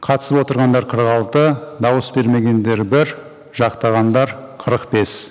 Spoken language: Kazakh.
қатысып отырғандар қырық алты дауыс бермегендер бір жақтағандар қырық бес